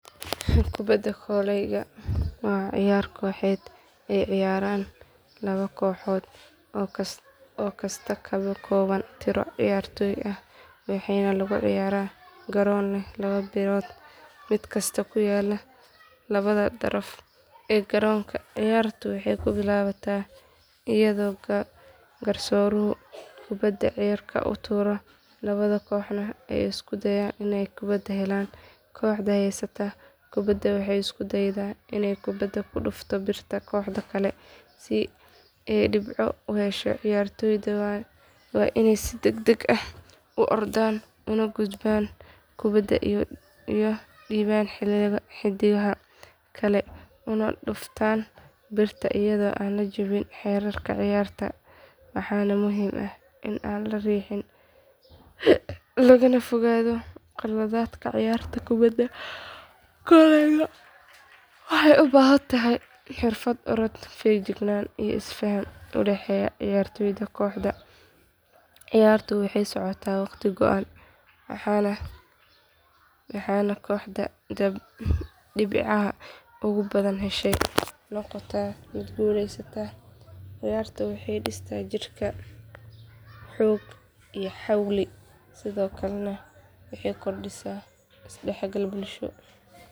Kubadda kolayga waa ciyaar kooxeed ay ciyaaraan laba kooxood oo kasta ka kooban tiro ciyaartoy ah waxaana lagu ciyaaraa garoon leh laba birood mid kasta ku yaal labada daraf ee garoonka ciyaartu waxay ku bilaabataa iyadoo garsooruhu kubadda cirka u tuuro labada kooxoodna ay isku dayaan inay kubadda helaan kooxda haysata kubadda waxay isku daydaa inay kubadda ku dhufto birta kooxda kale si ay dhibco u hesho ciyaartoyda waa inay si degdeg ah u ordaan u gudbaan kubadda u dhiibaan xiddigaha kale una dhuftaan birta iyadoo aan la jebin xeerarka ciyaarta waxaana muhiim ah in aan la riixin lagana fogaado qaladaadka ciyaarta kubadda kolayga waxay u baahan tahay xirfad orod feejignaan iyo isfaham u dhexeeya ciyaartoyda kooxda ciyaartu waxay socotaa waqti go’an waxaana kooxda dhibcaha ugu badan heshay noqotaa midda guuleysata ciyaartan waxay dhistaa jirkaga xoog iyo xawli sidoo kalena waxay kordhisaa is dhexgalka bulsho.